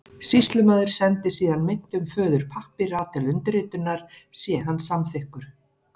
Sýslumaður sendir síðan meintum föður pappíra til undirritunar sé hann samþykkur.